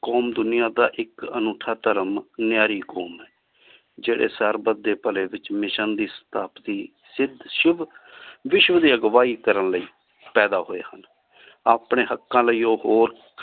com ਦੁਨਿਯਾ ਦਾ ਇਕ ਅਨੋਥਾ ਧਰਮ ਨਾਯਾਰੀ ਅਖੋਮ ਹੈ ਜੇਰੀ ਸਰ ਬਾਧ੍ਯ ਪਾਲੀ ਵਿਚ ਮਿਸ੍ਸਿਓਂ ਦੀ ਸਾਥਾਪ੍ਥੀ ਸੀਟ ਸ਼ੁਬ ਬਿਸ਼ੁ ਦੀ ਅਗਵਾਹੀ ਕਰਨ ਲੈ ਪੇਦਾ ਹੋਏ ਹਨ ਅਪਨੀ ਹਾਕ਼ਕ਼ਾਂ ਲੈ ਓਹ ਹੋਰ